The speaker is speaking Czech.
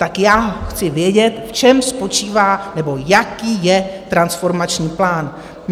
Tak já chci vědět, v čem spočívá nebo jaký je transformační plán.